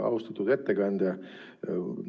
Austatud ettekandja!